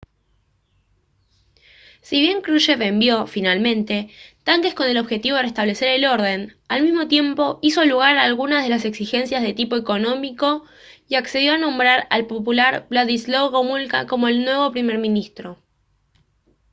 si bien krushev envió finalmente tanques con el objetivo de restablecer el orden al mismo tiempo hizo lugar a algunas de las exigencias de tipo económico y accedió a nombrar al popular wladyslaw gomulka como el nuevo primer ministro